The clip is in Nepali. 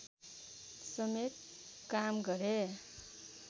समेत काम गरे